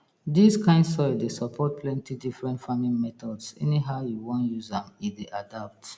dis kind soil dey support plenty different farming methodsanyhow you wan use am e dey adapt